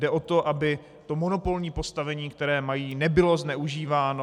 Jde o to, aby to monopolní postavení, které mají, nebylo zneužíváno.